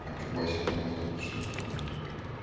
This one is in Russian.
а что бассейн круглосуточно что ли у нас